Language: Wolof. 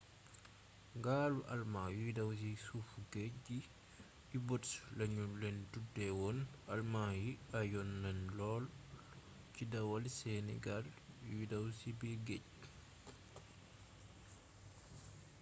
gaalu alëmaa yuy daw ci suufu géej gi u-boats lanu leen tuddeewoon alëmaa yi ayoon nanu lool ci dawal seeni gaal yuy daw c biir géej